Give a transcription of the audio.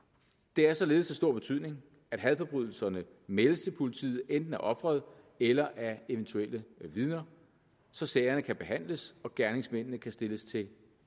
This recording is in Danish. det er således af stor betydning at hadforbrydelser meldes til politiet enten af offeret eller af eventuelle vidner så sagerne kan behandles og gerningsmændene stilles til